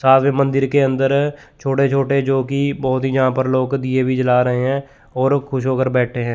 मंदिर के अंदर छोटे-छोटे जोकि बहोत ही यहां पर लोग दिए भी जला रहे हैं और खुश होकर बैठे हैं।